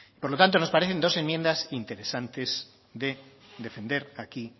por lo tanto nos parecen dos enmiendas interesantes de defender hoy aquí